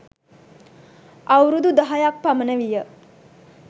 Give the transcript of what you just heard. අවුරුදු දහයක් පමණ විය.